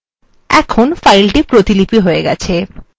এখন file প্রতিপিলি হয়ে গেছে